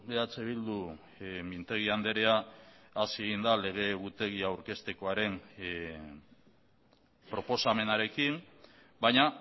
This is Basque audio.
eh bildu mintegi andrea hasi egin da lege egutegi aurkeztekoaren proposamenarekin baina